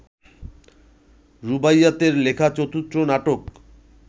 রুবাইয়াৎয়ের লেখা চতুর্থ নাটক